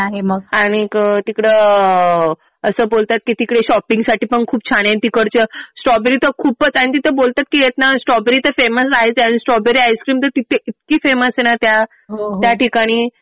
हो. आणि तिकडं असं बोलतात कि तिकडे शॉपिंग साठी पण खूप छान आहे. तिकडचं स्ट्रॉबेरी तर खूपच आणि तिथं बोलतात कि स्ट्रॉबेरी तर फेमस आहेच आणि स्ट्रॉबेरी आईसस्क्रीम तर तिथे इतकी फेमस आहे ना त्या ठिकाणी